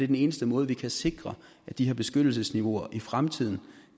den eneste måde vi kan sikre at de her beskyttelsesniveauer i fremtiden